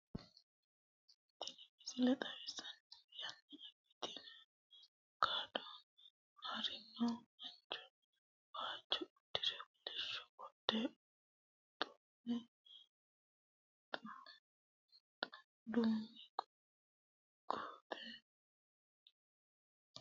Tini misile xawissannohu yanna abbitino kadhano haarinno mancho, waajjo uddire, kolishsho qodhe duume xeeqe rarraasire haranni nooha wole mancho hirate worronniha babbaxxino uduunne, korreente sayiisaannota siiwonna uurrinshasenna doogote nooha wole mannano xawissanno.